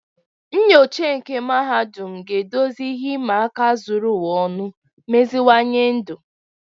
Nnyocha nke mahadum ga-edozi ihe ịma aka zuru ụwa ọnụ, meziwanye ndụ.